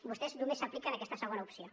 vostès només s’apliquen aquesta segona opció